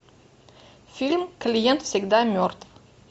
фильм клиент всегда мертв